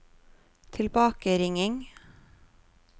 tilbakeringing